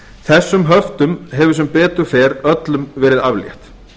þessum höftum hefur sem betur fer öllum verið aflétt